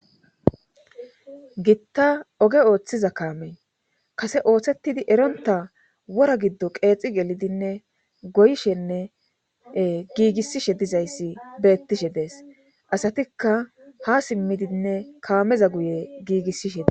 Gitta oge ooththiza kaame kase ooththetidi eronta wora giddo qeexi gelidinne goyshenne giigissishe dizayssi beettishe dees asatikka ha simmidinne kaameza guye giigissishe de